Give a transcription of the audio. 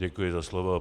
Děkuji za slovo.